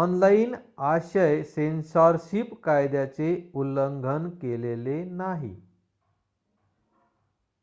online आशय सेन्सॉरशिप कायद्याचे उल्लंघन केलेले नाही